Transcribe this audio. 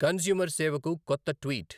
consumer సేవకు కొత్త tweet